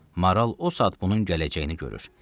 Maral o saat bunun gələcəyini görür.